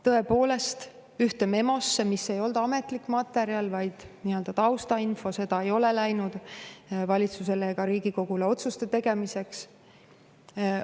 Tõepoolest, ühte memosse, mis ei olnud ametlik materjal, vaid nii-öelda taustainfo – see ei ole edasi läinud valitsusele ega Riigikogule otsuste tegemiseks –,.